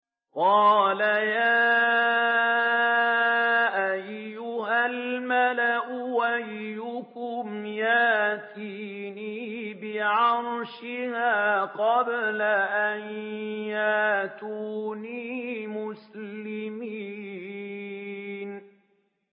قَالَ يَا أَيُّهَا الْمَلَأُ أَيُّكُمْ يَأْتِينِي بِعَرْشِهَا قَبْلَ أَن يَأْتُونِي مُسْلِمِينَ